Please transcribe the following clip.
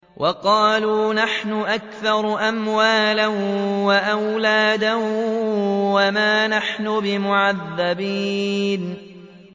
وَقَالُوا نَحْنُ أَكْثَرُ أَمْوَالًا وَأَوْلَادًا وَمَا نَحْنُ بِمُعَذَّبِينَ